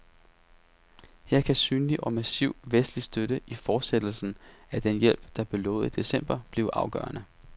Her kan synlig og massiv vestlig støtte i fortsættelse af den hjælp, der blev lovet i december, blive afgørende.